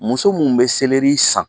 Muso minnu bɛ seleri san